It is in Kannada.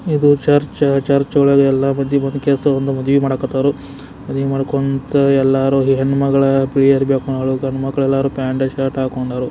ಇದು ಚೆರ್ಚ್ ಚರ್ಚ್ ಒಳಗೆ ಎಲ್ಲ ಮಂದಿ ಒಂದು ಕೆಲಸ ಒಂದು ಮದ್ವೆ ಮಾಡಕತರು ಮದ್ವೆ ಮಾಡ್ಕೊಂತ ಎಲ್ಲರೂ ಹೆಣ್ಣುಮಗಳ ಬಿಲ್ಲಿ ಅರವಿ ಹಾಕೊಂದಾಳು ಗಂಡು ಮಕ್ಲು ಎಲ್ಲರೂ ಪ್ಯಾಂಟು ಶುರತ್ ಹಾಕಿಕೊಂಡರು.